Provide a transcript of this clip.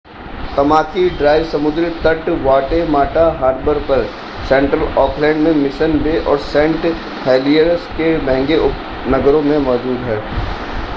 Tamaki Drive समुद्री तट Waitemata Harbour पर सेंट्रल ऑकलैंड में मिशन बे और सेंट हेलियर्स के महंगे उपनगरों में मौजूद हैं